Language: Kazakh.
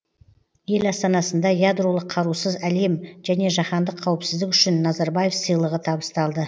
ел астанасында ядролық қарусыз әлем және жаһандық қауіпсіздік үшін назарбаев сыйлығы табысталды